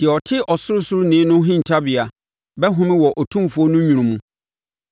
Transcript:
Deɛ ɔte Ɔsorosoroni no hintabea bɛhome wɔ Otumfoɔ no nwunu mu.